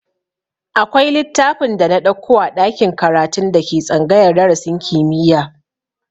Akwai littafin da na ɗauko a ɗakin karatun da ke tsangayar darasin kimiyya